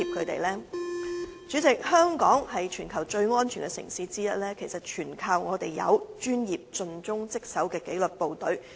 代理主席，香港是全球最安全的城市之一，全賴我們有專業和盡忠職守的紀律部隊。